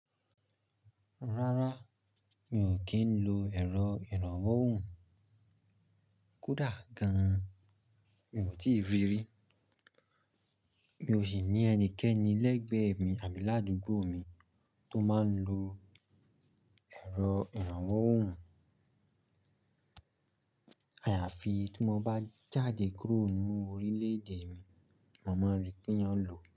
Rárá, mi ò kí ń lo ẹ̀rọ ìrànwọ́ òhùn. Kódà gan-an mi ò tíì rí rí. Mi ò sì ní ẹnikẹ́ni lẹ́gbẹ̀ẹ́ mi àbí ládùúgbò mi tó máa ń lo ẹ̀rọ ìrànwọ́ òhùn. Àyàfi tí mo bá jáde kúrò nínú orílẹ̀-èdè mi, mo máa rí pé eyan lò ó.